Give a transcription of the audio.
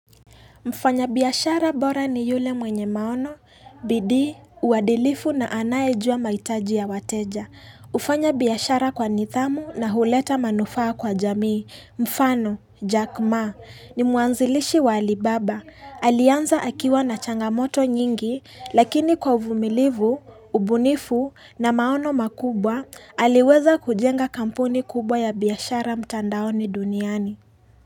Mfanyabiashara bora ni yule mwenye maono, bidii, uadilifu na anayejua mahitaji ya wateja. Kufanya biashara kwa nidhamu na huleta manufaa kwa jamii. Mfano, Jack ma, ni mwanzilishi wa alibaba. Alianza akiwa na changamoto nyingi, lakini kwa uvumilivu, ubunifu na maono makubwa, aliweza kujenga kampuni kubwa ya biashara mtandaoni duniani.